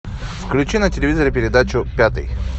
включи на телевизоре передачу пятый